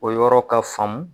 O yɔrɔ ka faamu.